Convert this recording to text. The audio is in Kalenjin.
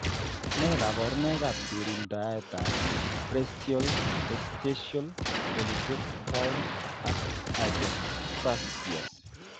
Nee kabarunoikab ng'ering'indoab preaxial, postaxial polydactyly ak hypospadias ?